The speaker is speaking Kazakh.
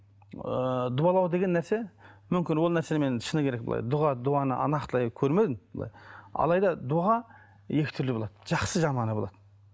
ыыы дуалау деген нәрсе мүмкін ол нәрсені мен шыны керек былай дұға дуаны нақтылай көрмедім былай алай да дұға екі түрлі болады жақсы жаманы болады